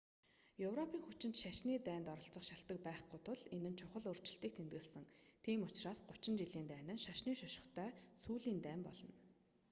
европийн хүчинд шашны дайнд оролцох шалтаг байхгүй тул энэ нь чухал өөрчлөлтийг тэмдэглэсэн тийм учраас гучин жилийн дайн нь шашны шошготой сүүлийн дайн болно